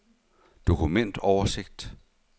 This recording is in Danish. dokumentoversigt